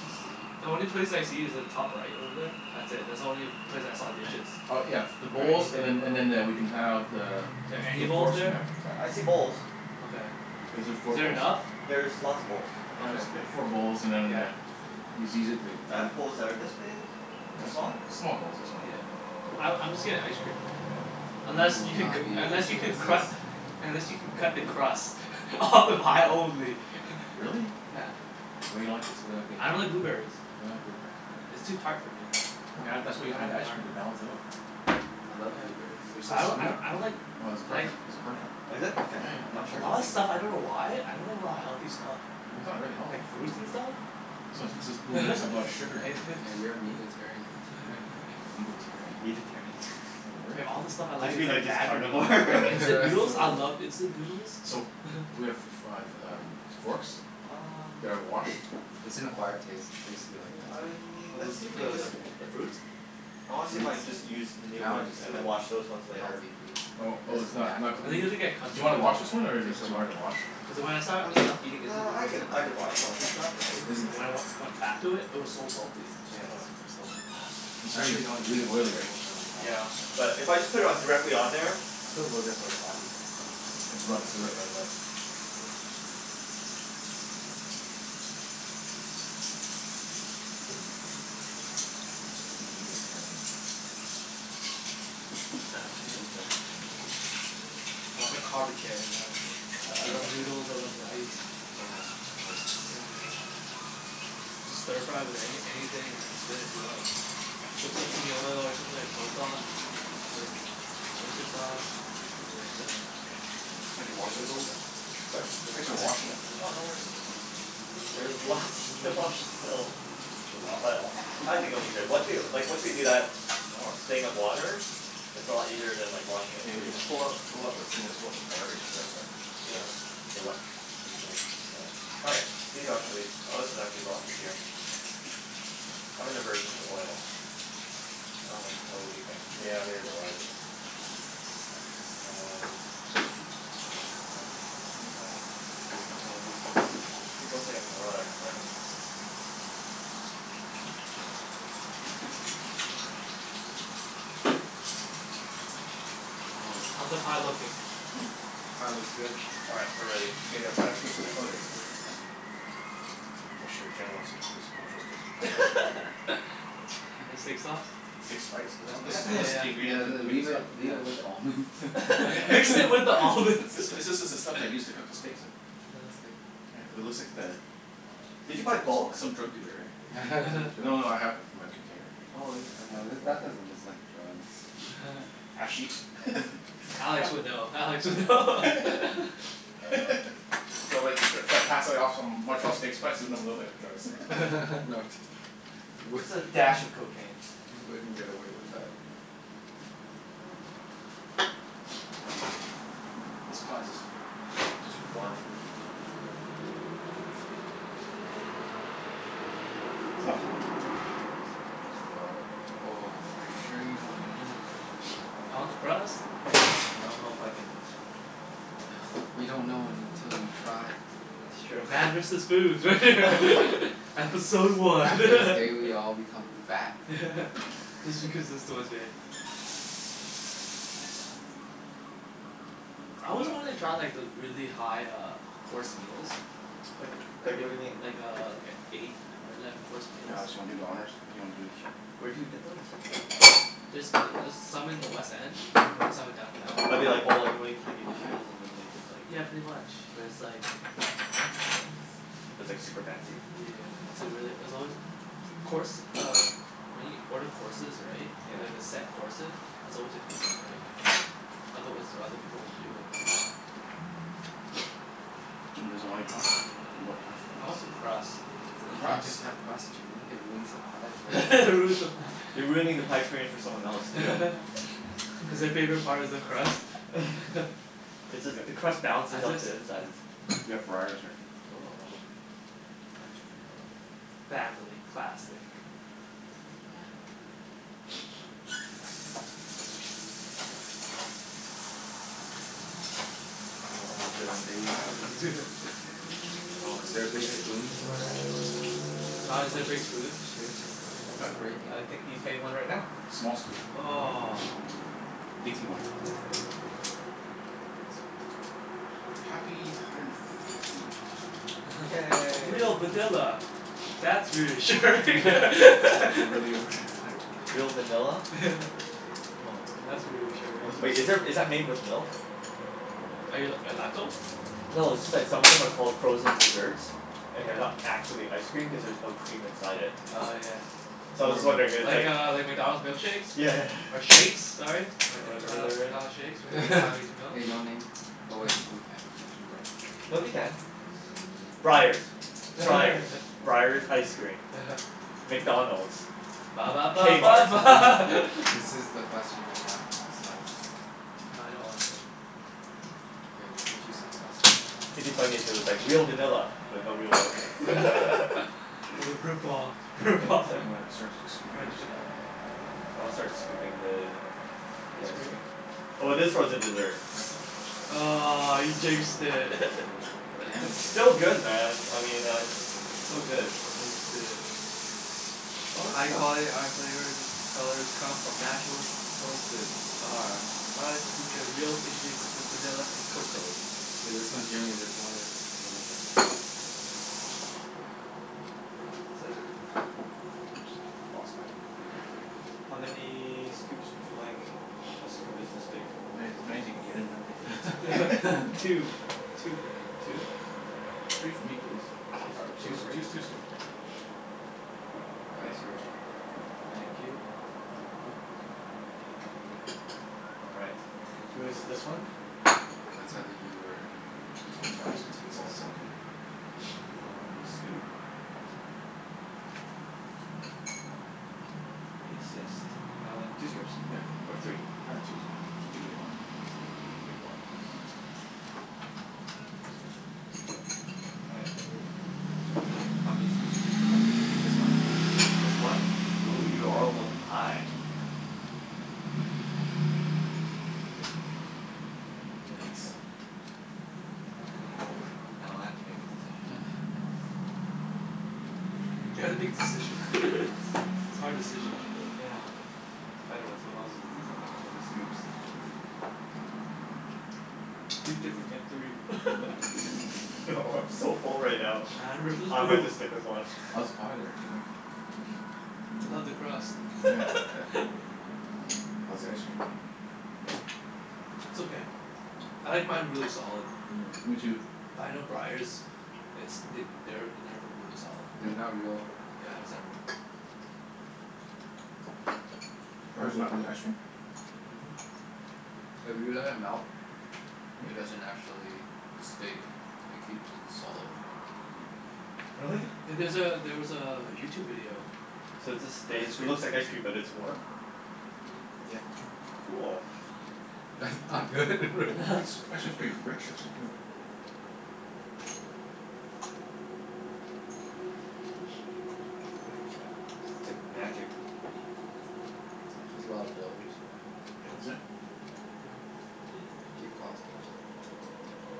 Jus- Sweet. the only place I see is the top right over there. That's it. That's the only place I saw dishes. Oh, yeah, the Or bowls anything. and then and then eh- we can have the Is the there f- any the bowls forks we there? have. Yeah, I see bowls. Okay. Is there four Is there bowls? enough? There's lots of bowls. I Okay. guess we got four bowls and then Yeah. uh yous easy it to g- I have bowls that are this big. Yeah, Too that's small? fine. Small bowls. That's fine. Yeah. Small bowls? I I'm just getting ice cream, right? Yeah. Unless You will you can c- not be able unless to you can resist. cru- unless you can cut the crust off the pie only. Really? Yeah. What, you don't like the s- you don't like being I don't like a blueberries. Oh, you don't like blueberries? Yeah, it's too tart for me. You What? add that's why you I don't add the like ice cream, tart. to balance it Oh. out. I love Yeah. blueberries. They're so I d- sweet. I d- I don't like Well this is like perfect. These are Yeah? perfect. Oh, is it? Yeah, Okay. I'm yeah. not For sure a how lot sure. of big y- stuff. I don't know why. I don't like a lot of healthy stuff. Really? It's not really healthy. Like fruits and stuff. blueberries have a lot of sugar in it. Yeah. Yeah, you're a Mhm. meatetarian, that's why. Meatetarian. Meatetarian? Yeah. Is that a word? There, all the stuff I Don't like you is mean like like just bad for me. carnivore? Like It's instant noodles? a I word. love instant noodles. So, do we have f- f- uh, um, forks? Um That are washed? It's an acquired taste. I used to be like that too. I, A let's bl- see if we can uh just the bl- Yeah. the fruits? I wanna see if I Fruits can just use and new now I ones just and then love wash those ones later. healthy foods. Oh This Mm. oh is it's not not natural. I think you clean? have to get Do you accustomed to wanna it, wash this Yeah, Yeah. one yeah. or it's takes a too while. hard to wash? Cuz when I st- I mean stopped eating instant yeah, I noodles could, and I like could a lot of wash them salty stuff, right? Is it When th- I wen- went back to it it was so salty. I just Yeah, gotta it's super salty. Yeah. It's I really actually don't really eat oily, instant right? noodles, or Oh, yeah. McDonald's, or anything But like if I just that. put it on Mhm. directly on there I still go there for a coffee, but It's Mm. rubbed this will through get it. rid of it. Meat meatetarian. I'll take out the Well, I'm a carbetarian, really. I I Yeah. love Carbetarian. noodles. I love rice. Oh yeah, Yeah. rice is good. Sounds good. You just stir-fry with anyth- anything and it's good to go. Some sesame oil or something, or soy sauce. Good. Oyster sauce. Or like the Yeah. Thanks for the washing this stuff, noodles. man. Sorry? Thanks for stir-fry, washing shit it. is done. Oh, no worries. There's lots to wash still. Is there lots to But wash? I think it'll be good. Once we, like once we do that Oh, it's thing of water it's a lot easier than washing it And we can freehand, so pull out pull out those things and throw it in the garbage I guess, right? Yeah. All right, these are actually, oh, this is actually a lot easier. I have an aversion to oil. I don't like oily things. Yeah, neither do I l- Um Happened the I mean people say I'm neurotic but Mm. Holy, How's the pie pie looks good. looking? Hmm? Pie looks good. All right, we're ready. Okay, gotta find a twist ti- oh, there's my twist tie. I'm not sure if Jen wants to keep this Montreal steak sp- you probably wanna take it home. The steak sauce? Steak spice. This Oh, al- this spice? Yeah this is yeah the yeah. Yeah, ingredient l- to make the leave it stuff. leave it with the Yeah. almonds. Mix it with the almonds. This is this is the stuff they use to cook the steaks in Yeah. It's good. Yeah. It looks like the Did you n- buy tr- bulk? s- some drug dealer, eh? No no no, I have it my container. Oh yeah, okay. No, th- Cool. Mm. that doesn't look like drugs. Hashish? Alex would know. I Alex would would know. know. Do you want me t- to try pass like off some Montreal steak spice and make it look like drugs? No t- you w- Just a dash of cocaine. You wouldn't get away with that. This pie's just just warm. It's not hot, I don't think. It's warm. Oh, are you sure you don't want any of that? I want the crust. I don't know if I can You don't know until you try. That's true. Man versus food. Yeah. Episode one. After this day we all become fat. Just because it's the one day. Yeah. I Coming always up. wanted to try like those really high uh course meals. Like w- like Like what do you mean? i- like a like i- eight or eleven course Hey meals. Alex, you wanna do the honors? If you wanna do this Sure. Where do you get those? There's th- there's some in the West End. Mhm. There's some in downtown. Are they like all like really tiny dishes and then they just like Yeah, Mm. pretty much but it's like That's cool. it's But it's like super fancy? yeah. It's a really, it's always t- course uh when you order courses, right? Yeah. Like the set courses? It's always expensive, right? Mm. Otherwise other people won't do it, right? Jimmy doesn't want any pie? More pie for I want some us. crust. That's You it. can't just Crust? have crust, Jimmy. It ruins the pie for It everyone ruins the else. pie. You're ruining the pie experience for someone else, Yeah. too. Cuz their favorite part is the crust? It's We got just the crust I balances out just the I insides. We have Breyers here. Oh. Oh. French vanilla. Family classic. I Oh, I'm hope it feeling stays together. Oh, is there a big spoon somewhere there? Don, is Aha. there a big spoon? Shit. It's Huh? breaking. Uh, I think he's getting one right now. Small spoon. Oh. Aw. Dinky one. That's good. That's fine. Yeah, Happy you hundred didn't and have to deal with fifty. it. Yay. Real vanilla. That's reassuring! Is it really were their there? Real vanilla? Yeah. Oh. That's reassuring. Wow, Wait, this is there, thing's is that made with milk? Probably. Are you l- lactose? No, it's just that some of them are called frozen dessert and they're Yeah. not actually ice cream cuz there's no cream inside it. Oh Yeah. yeah. So I was Or just milk. wondering if it's like Like uh like McDonald's milkshakes? Yeah. Or shakes, sorry. Am I d- Or am I whatever al- they're at. McDonald's shakes? Hey no name. Oh wait, we can mention brand names here. No, we can. Yeah. Breyers. Yeah. Yeah. Breyers. Breyers ice cream. uh-huh. McDonald's. Ba ba ba ba K-Mart. ba Hey Jimmy. This is the question. Do you want a slice? Nah, I don't wanna K, we'll cut you some crust then. It'd be funny if it was like, "Real vanilla but no real milk." Jim. It's a rip-off. Thank you, rip-off. sir. You wanna start sc- scooping French yours? vanilla. Yeah. I'll start scooping the the Ice ice cream? cream. Oh, it is frozen dessert. Aw, you jinxed it. Damn it, It's still Jimmy. good, man. I mean I It's still good. Jinxed it. High quality. Our flavors colors come from natural sources. Our products feature real ingredients such as vanilla and cocoa. Okay, this one Jimmy's, this one is a little bit Oops, lost my thing here. How many scoops would you like? A scoop is this big. As many as many as you can get in that All right. thing. Two. Two for me. Two? All right. Yeah. Three for me please. Two All right, scoops two's of two's Yeah. raisins two's good. All That right. is yours, Jimbo. Thank you. I'll grab it. Get outta your way. All right. And into my Who's mouth. this one? That's either Mm. you or p Open mouths, twenty it's two's. all it's all good. One scoop. If you insist. Uh, two scoops Yeah. or three? Ah, two's good. K. Two big ones. That's good. Two big ones. That's good. That's perfect. Yep. Thanks. All right. How many scoops would you like? Just one, please. Just one? Yeah. Ooh, you are all about the pie. Yeah. There we go. And oh, now I have to make a decision. You have to make decision. It's hard decision. Yeah, I liked it better when someone else was deciding how many scoops. Be different. Get three. No, I'm so full right now. Man versus I might foo- just stick with one. How's the pie there, Jimmy? I love the crust. Nyeah. How's the ice cream? It's okay. Mm. I like mine really solid. Mm, me too. But I know Breyers it's th- they're never really solid. They're not No? real Yeah, cream. it's not real. Breyers not really ice cream? Mhm. If you let it Hmm. melt it doesn't actually, Hmm? it stay it keeps its solid Mm. form. Yeah. Really? Yeah, there's a, there was a YouTube video. So it just On stays, ice it cream. looks like ice cream but it's warm? Yeah. Cool. That's not good, real Actually it's pretty rich, actually, too. Interesting. It's like magic. There's a lot of Magic. fillers, right? Yeah. Is it? Yep. Yeah. Keep cost down.